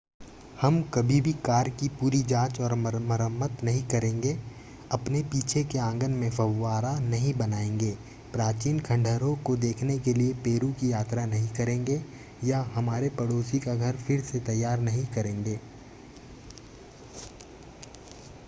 हम कभी भी कार की पूरी जांच और मरम्मत नहीं करेंगे अपने पीछे के आंगन में फव्वारा नहीं बनाएंगे प्राचीन खंडहरों को देखने के लिए पेरू की यात्रा नहीं करेंगे या हमारे पड़ोसी का घर फिर से तैयार नहीं करेंगे